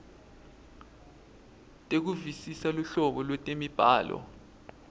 tekuvisisa luhlobo lwetemibhalo